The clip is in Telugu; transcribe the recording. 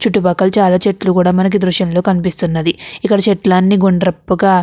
చుట్టుపక్కలు చాలా చెట్లు కూడా మనకి దృశ్యం లో కనిపిస్తున్నది. ఇక్కడ చెట్లని గుండ్రపుగా --